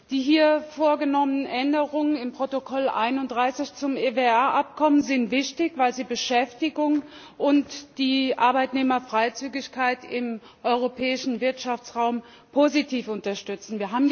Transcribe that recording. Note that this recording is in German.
Die hier vorgenommenen Änderungen im Protokoll 31 zum EWR Abkommen sind wichtig, weil sie Beschäftigung und die Arbeitnehmerfreizügigkeit im Europäischen Wirtschaftsraum positiv unterstützen.